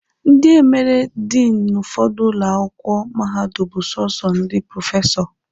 Ndi emere Diinụ n'ụfọdụ ụlọ akwụkwọ mahadum bụ sọsọ ndị prọfesọ.